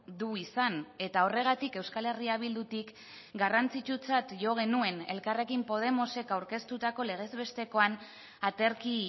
du izan eta horregatik euskal herria bildutik garrantzitsutzat jo genuen elkarrekin podemosek aurkeztutako legez bestekoan aterki